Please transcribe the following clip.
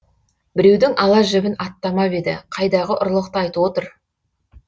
біреудің ала жібін аттамап еді қайдағы ұрлықты айтып отыр